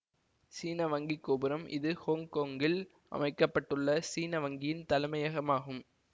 சீன வங்கி கோபுரம் இது ஹொங்கொங்கில் அமைக்க பட்டுள்ள சீன வங்கியின் தலைமையகம் ஆகும்